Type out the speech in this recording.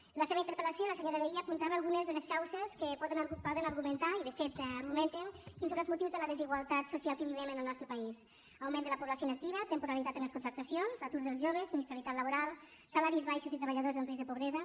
en la seva interpel·lació la senyora vehí apuntava algunes de les causes que poden argumentar i de fet ho argumenten quins són els motius de la desigualtat social que vivim en el nostre país augment de la població inactiva temporalitat en les contractacions atur dels joves sinistralitat laboral salaris baixos i treballadors en risc de pobresa